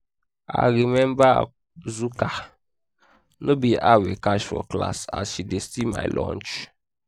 i remember azuka no be her we catch for class as she dey steal my lunch